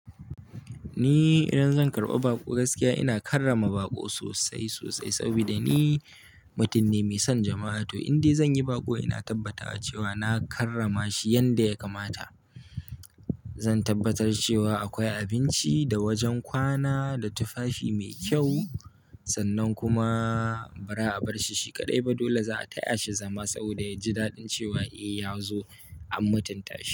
Ni idan zan karɓa baƙo gaskiya ina karrama baƙo sosai sosai sabida ni mutum ne mai son jama'a. To indai zan yi baƙo ina tabbatawa cewa na karrama shi yanda yakamata. Zan tabbatar cewa akwai abinci da wajen kwana da tufafi mai kyau sannan kuma bara a barshi shi kaɗai ba. Dole za'a taya shi zama sabida ya ji daɗin cewa eh ya zo an mutunta shi.